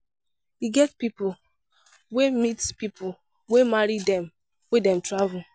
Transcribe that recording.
E get pipo wey meet pipo wey marry dem wen dem travel.